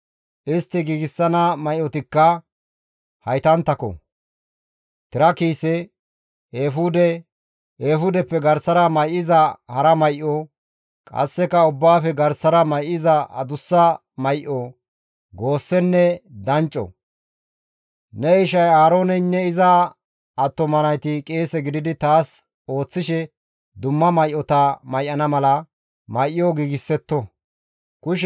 Istti giigsana may7otikka haytanttako; tira kiise, eefude, eefudeppe garsara may7iza hara may7o, qasseka ubbaafe garsara may7iza adussa may7o, goossenne dancco. Ne ishay Aarooneynne iza attuma nayti qeese gididi taas ooththishe dumma may7ota may7ana mala, may7o giigsetto. Qeesey woththiza qoobenne tira kiise